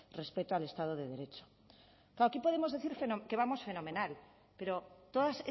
respeto al estado de derecho claro aquí podemos decir que vamos fenomenal pero todas